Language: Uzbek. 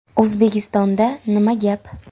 O‘zbekistonda nima gap?